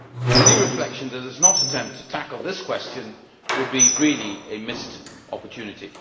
Any reflection that does not attempt to tackle this question would really be a missed opportunity.